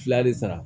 Fila de sara